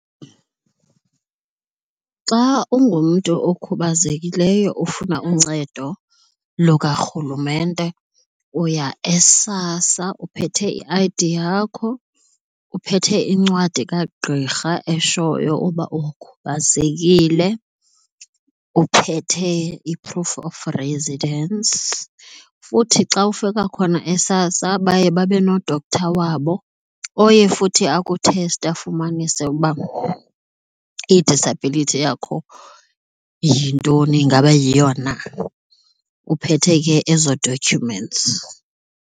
Xa ungumntu okhubazekileyo ufuna uncedo lukarhulumente uya eSASSA uphethe i-I_D yakho, uphethe iincwadi kagqirha eshoyo uba ukhubazekile, uphethe i-proof of residence. Futhi xa ufika khona eSASSA baye babe no-doctor wabo oye futhi akutheste afumanise uba i-disability yakho yintoni ingaba yiyo na, uphethe ke ezo documents.